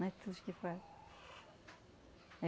Não é tudos que faz.